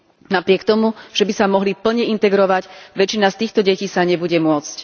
Napriek tomu, že by sa mohli plne integrovať, väčšina z týchto detí sa nebude môcť.